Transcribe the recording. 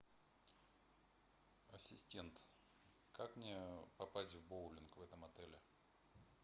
ассистент как мне попасть в боулинг в этом отеле